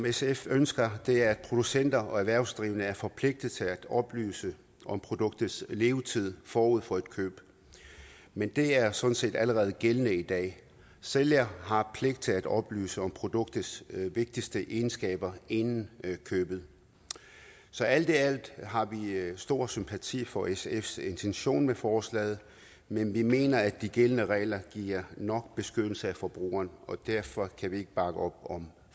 sf ønsker er at producenter og erhvervsdrivende er forpligtet til at oplyse om produktets levetid forud for et køb men det er sådan set allerede gældende i dag sælger har pligt til at oplyse om produktets vigtigste egenskaber inden købet så alt i alt har vi stor sympati for sfs intention med forslaget men vi mener at de gældende regler giver nok beskyttelse af forbrugeren og derfor kan vi ikke bakke op om